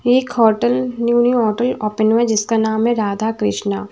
एक hotel new new hotel open हुआ है जिसका नाम है राधा कृष्णा।